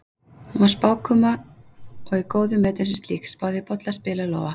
Hún var spákona og í góðum metum sem slík, spáði í bolla, spil og lófa.